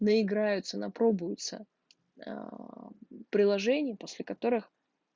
на играются на пробуется приложение после которых